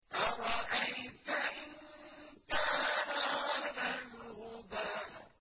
أَرَأَيْتَ إِن كَانَ عَلَى الْهُدَىٰ